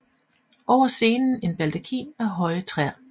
Over scenen en baldakin af høje træer